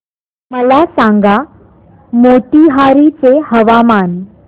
मला सांगा मोतीहारी चे हवामान